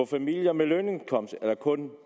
familier med lønindkomst kun er